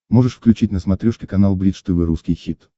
можешь включить на смотрешке канал бридж тв русский хит